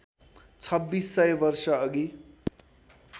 छब्बिस सय वर्षअघि